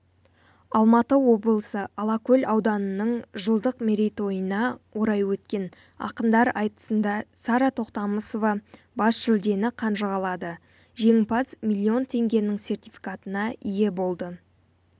алматы облысы алакөл ауданының жылдық мерейтойына орай өткен ақындар айтысында сара тоқтамысова бас жүлдені қанжығалады жеңімпаз миллион теңгенің сертификатына ие болды